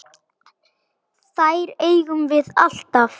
Þær eigum við alltaf.